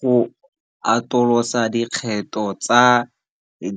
Go atolosa dikgetho tsa